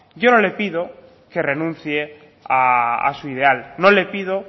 yo no le pido que renuncie a su ideal no le pido